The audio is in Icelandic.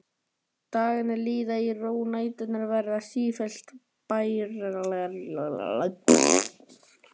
Dagarnir líða í ró og næturnar verða sífellt bærilegri.